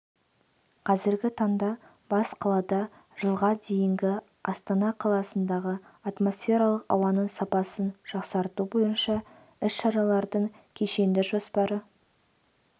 қазіргі таңда бас қалада жылға дейінгі астана қаласындағы атмосфералық ауаның сапасын жақсарту бойынша іс-шаралардың кешенді жоспары